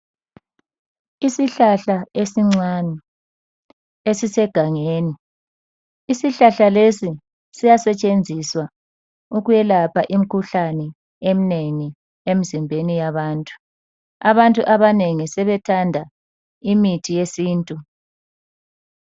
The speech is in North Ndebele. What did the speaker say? Isihlahla esincane esisegangeni. Isihlahla lesi siyasetshenziswa ukuyelapha imikhuhlane eminengi emzimbeni yabantu. Abantu abanengi sebethanda imithi yesintu.